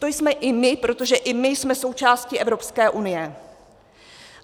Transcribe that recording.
To jsme i my, protože i my jsme součástí Evropské unie.